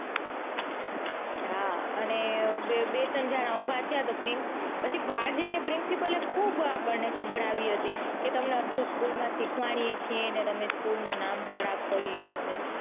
હા અને બે ત્રણ જણા ઉભા થયા તો પછી બાર જઈને આપણને principal ખુબ આપણને સંભળાવી હતી કે તમને school માં આટલું સીખ્વાડીયે છીએ ને તમે સ્કૂલ નું નામ ખરાબ કર્યું.